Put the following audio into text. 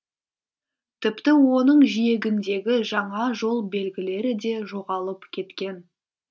тіпті оның жиегіндегі жаңа жол белгілері де жоғалып кеткен